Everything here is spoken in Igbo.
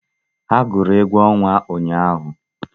Ha gwụrụ egwu ọnwa ụnyahụ